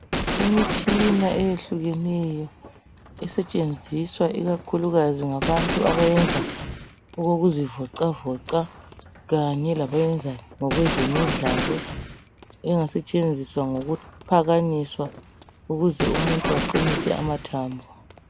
Imitshina eyehlukeneyo esetshenziswa ikakhulukazi ngabantu abayenza okokuzivoxavoxa kanye labayenza ngokwezemidlalo engasetshenziswa ngokuphakanyiswa ukuze umuntu aqinise amathambo.